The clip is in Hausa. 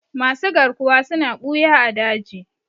Masu garkuwa suna ɓuya a daji.